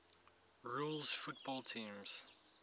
rules football teams